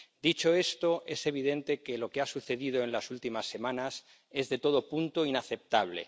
Dicho esto, es evidente que lo que ha sucedido en las últimas semanas es de todo punto inaceptable.